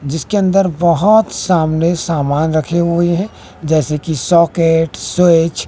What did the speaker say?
जिसके अंदर बहोत सामने सामान रखे हुए हैं जैसे की सोकेट स्विच --